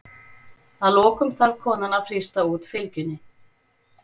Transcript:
Að lokum þarf konan að þrýsta út fylgjunni.